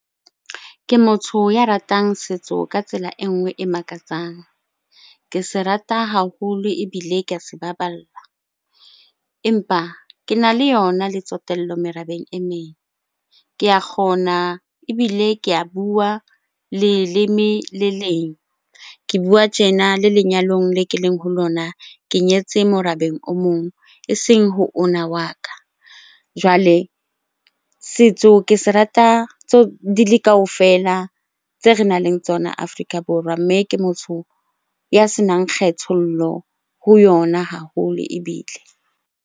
Ke motho ya ratang setso ka tsela e nngwe e makatsang. Ke se rata haholo ebile ke a se baballa. Empa kena le yona le tsotello merabeng e meng, ke a kgona ebile ke a bua leleme le leng. Ke bua tjena le lenyalong le ke leng ho lona ke nyetse morabeng o mong eseng ho ona wa ka. Jwale setso ke se rata di le kaofela tse re nang le tsona Afrika Borwa, mme ke motho ya senang kgethollo ho yona haholo ebile.